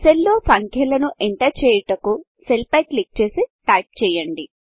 cell లో సంఖ్యలను enter చేయుటకు సెల్ పై క్లిక్ చేసి టైప్ చేయండి